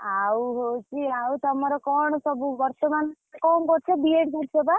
ଆଉ ହଉଛି ଆଉ ତମର କଣ ସବୁ ବର୍ତମାନ କଣ କରୁଛ B.Ed କରୁଛ ବା?